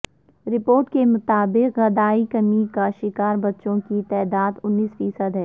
report کے مطابق غدائی کمی کا شکار بچوں کی تعداد انیس فیصد ہے